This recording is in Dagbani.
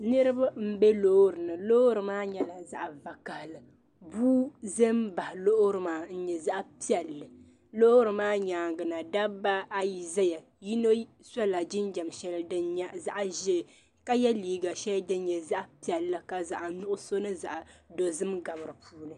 Niribi. n be lɔɔrinim lɔɔri maa nyɛla zaɣi vakahili, bii n za n baɣi lɔɔrimaa n nyɛ zaɣi piɛli, lɔɔrimaa nyaaŋa na dabi ayi ʒɛya yinɔ sola jinjam shɛli din nyɛ zaɣiʒɛɛ ka ye liiga shɛli din nyɛ zaɣi piɛli ka zaɣi nuɣuso. ni zaɣ' dozim gabi di puuni